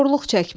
Korluq çəkmək.